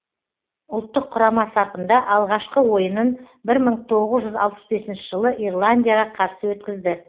ұлттық құрама сапында алғашқы ойынын бір мың тоғыз жүз алпыс бесінші жылы ирландияға қарсы өткізді